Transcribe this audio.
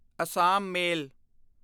Assam ਮੇਲ